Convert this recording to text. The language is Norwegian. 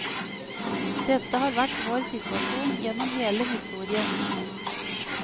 Dette har vært vår situasjon gjennom hele historien.